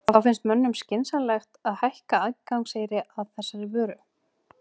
Þá finnst mönnum skynsamlegt að hækka aðgangseyri að þessari vöru?